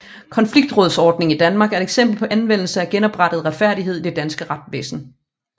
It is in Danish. Konfliktrådsordningen i Danmark er et eksempel på anvendelsen af genoprettende retfærdighed i det danske retsvæsen